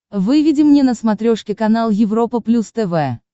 выведи мне на смотрешке канал европа плюс тв